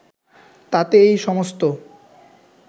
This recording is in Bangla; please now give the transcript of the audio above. তাতে এই সমস্ত